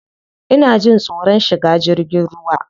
Ina jin tsoron shiga jirgin ruwa.